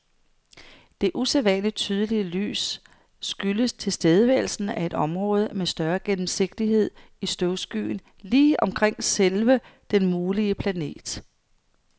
Det usædvanligt tydelige lys skyldes tilstedeværelsen af et område med større gennemsigtighed i støvskyen lige omkring selve den mulige planet.